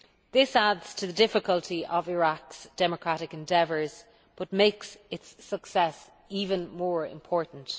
This adds to the difficulty of Iraq's democratic endeavours but makes its success even more important.